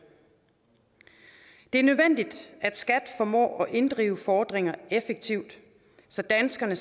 det er nødvendigt at skat formår at inddrive fordringer effektivt så danskerne